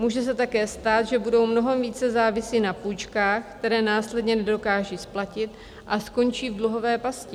Může se také stát, že budou mnohem více závisí na půjčkách, které následně nedokážou splatit a skončí v dluhové pasti.